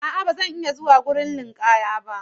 A'a, ba zan iya zuwa wurin ninkaya ba.